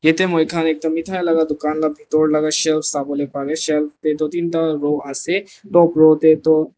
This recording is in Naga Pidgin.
yate moikhan ekta mithai laga dukan la bitor laga shelf sawo le pare shelf te toh tinta row ase top row te toh.